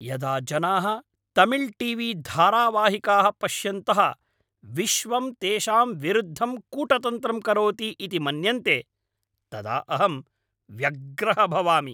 यदा जनाः Tamil T V धारावाहिकाः पश्यन्तः विश्वं तेषां विरुद्धं कूटतन्त्रं करोति इति मन्यन्ते तदा अहं व्यग्रः भवामि।